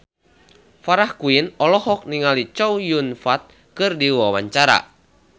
Farah Quinn olohok ningali Chow Yun Fat keur diwawancara